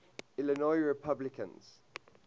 illinois republicans